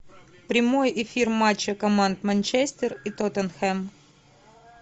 прямой эфир матча команд манчестер и тоттенхэм